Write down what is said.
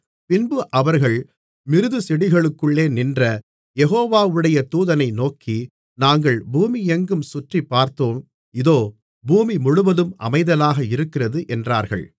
பின்பு அவர்கள் மிருதுச்செடிகளுக்குள்ளே நின்ற யெகோவாவுடைய தூதனை நோக்கி நாங்கள் பூமியெங்கும் சுற்றிப்பார்த்தோம் இதோ பூமிமுழுவதும் அமைதலாக இருக்கிறது என்றார்கள்